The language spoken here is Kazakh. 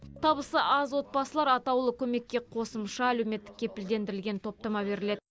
табысы аз отбасылар атаулы көмекке қосымша әлеуметтік кепілдендірілген топтама беріледі